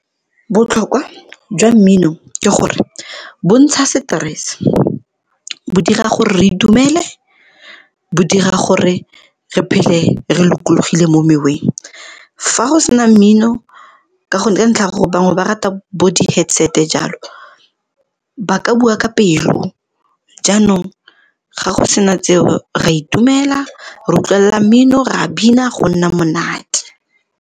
Botlhokwa jwa mmino ke gore bo ntsha seterese, bo dira gore re itumele, bo dira gore re phele re lokologile mo meweng. Fa go sena mmino ka ntlha ya gore bangwe ba rata bo di-headset jalo ba ka bua ka pelo. Jaanong, ga go sena tseo ra itumela re utlwelela mmino, re a bina go nna monate.